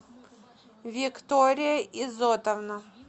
виктория изотовна